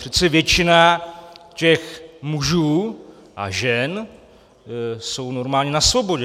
Přece většina těch mužů a žen jsou normálně na svobodě.